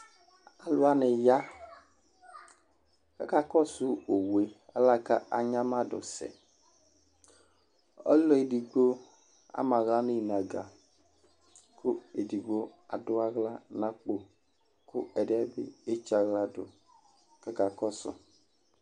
alu wʋani ya ku aka kɔsu Owue alɛnɛ ku adzamadu sɛ, ɔlu edigbo ama aɣla nu inaga , ku edigbo adu aɣla nu akpo, ku ɛdiɛ bi etsaɣla ku ɔka kɔsu